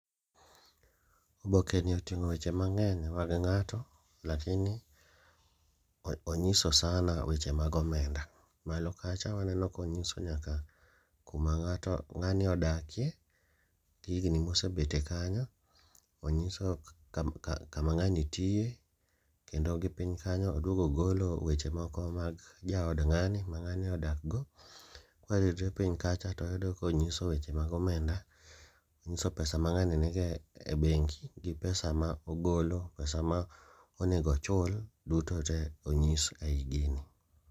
Oboke ni oting'o weche mang'eny mag ng'ato, lakini onyiso sana weche mag omenda. Malo kacha waneno konyiso nyaka kuma ng'ato ng'ani odakie, gi higni mosebetie kanyo, onyiso kama ng'ani tiye. Kendo gi piny kanyo oduogo ogolo weche moko mag jaod ng'ani ma ng'ani odak go. Kwaridre piny kacha to wayudo konyiso weche mag omenda, onyiso pesa ma ng'ani nigo e bengi gi pesa ma ogolo. Pesa ma onego ochul duto te onyis ei gini.